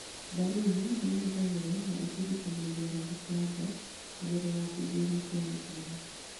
Mbaruni nĩĩhuhagĩrwo na ĩtindĩkagĩrĩria maguta nanja kũgerera thingo-inĩ cia mĩkiha